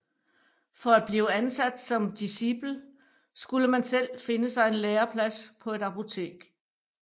For at blive ansat som discipel skulle man selv finde sig en læreplads på et apotek